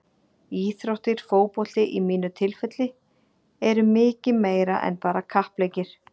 Íþróttir, fótbolti í mínu tilfelli, eru mikið meira en bara kappleikir.